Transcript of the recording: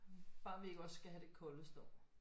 Bare vi ikke også skal have den koldeste år